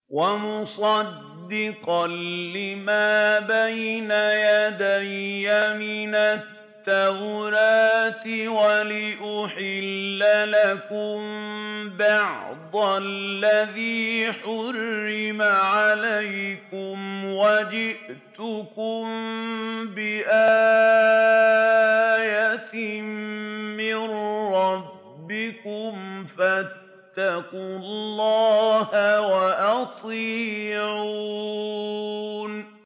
وَمُصَدِّقًا لِّمَا بَيْنَ يَدَيَّ مِنَ التَّوْرَاةِ وَلِأُحِلَّ لَكُم بَعْضَ الَّذِي حُرِّمَ عَلَيْكُمْ ۚ وَجِئْتُكُم بِآيَةٍ مِّن رَّبِّكُمْ فَاتَّقُوا اللَّهَ وَأَطِيعُونِ